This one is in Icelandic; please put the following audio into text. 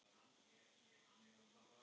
Að minna en engu.